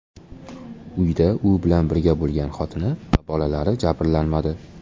Uyda u bilan birga bo‘lgan xotini va bolalari jabrlanmadi.